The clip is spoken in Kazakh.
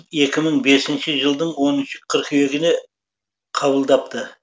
екі мың бесінші жылдың оныншы қыркүйегінде қабылдапты